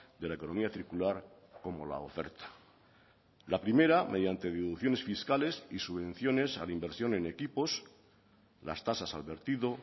de la economía circular como la oferta la primera mediante deducciones fiscales y subvenciones a la inversión en equipos las tasas al vertido